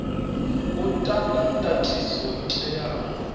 u ta ndatiso yo teaho